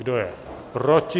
Kdo je proti?